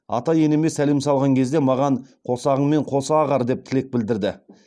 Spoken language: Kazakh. ата енеме сәлем салған кезде маған қосағыңмен қоса ағар деп тілек білдірді